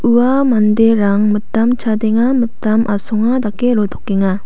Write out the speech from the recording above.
ua manderang mitam chadenga mitam asonga dake rotokenga.